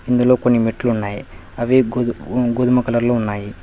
ఇందులో కొన్ని మెట్లున్నాయ్ అవి గోధుమ కలర్ లో ఉన్నాయి.